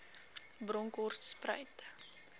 bronkhortspruit